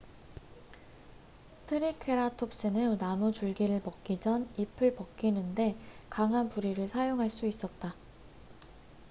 트리케라톱스는 나무줄기를 먹기 전 잎을 벗기는데 강한 부리를 사용할 수 있었다